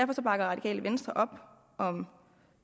radikale venstre op om